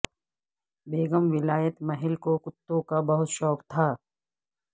بیگم ولایت محل کو کتوں کا بہت شوق تھا